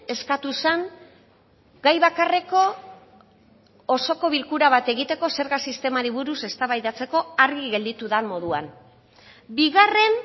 eskatu zen gai bakarreko osoko bilkura bat egiteko zerga sistemari buruz eztabaidatzeko argi gelditu den moduan bigarren